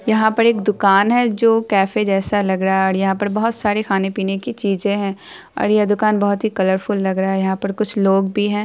यहाँ पर एक दुकान है जो केफे जैसा लग रहा हैं और यहाँ पर बहुत सारे खाने पीने की चीजे हैं और ये दुकान बहुत ही कलर फुल लग रहा है। यहाँ पर कुछ लोग भी हैं।